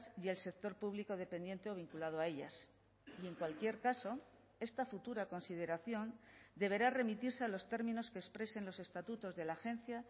y el sector público dependiente o vinculado a ellas y en cualquier caso esta futura consideración deberá remitirse a los términos que expresen los estatutos de la agencia